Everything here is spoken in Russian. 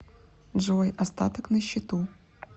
джой остаток на счету